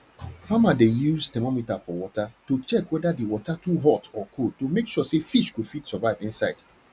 farmer dey use thermometer for water to check wether the water too hot or cold to make sure say fish go fit survive inside